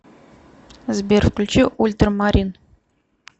сбер включи ультрамарин